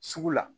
Sugu la